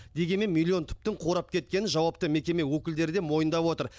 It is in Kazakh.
дегенмен миллион түптің қурап кеткенін жауапты мекеме өкілдері де мойындап отыр